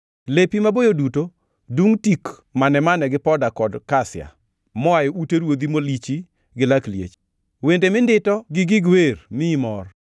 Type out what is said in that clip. Lepi maboyo duto dungʼ tik mane-mane gi poda kod kasia; moa e ute ruodhi molichi gi lak liech. Wende mindito gi gig wer miyi mor.